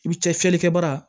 I bi cɛ fiyɛlikɛ bara